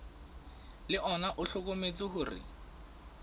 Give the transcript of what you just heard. le ona o hlokometse hore